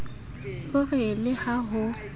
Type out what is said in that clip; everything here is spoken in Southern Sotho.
o re le ha ho